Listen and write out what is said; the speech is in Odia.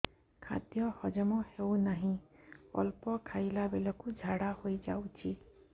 ଖାଦ୍ୟ ହଜମ ହେଉ ନାହିଁ ଅଳ୍ପ ଖାଇଲା ବେଳକୁ ଝାଡ଼ା ହୋଇଯାଉଛି